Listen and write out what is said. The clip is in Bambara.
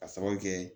Ka sababu kɛ